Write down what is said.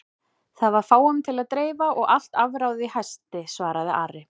Það var fáum til að dreifa og allt afráðið í hasti, svaraði Ari.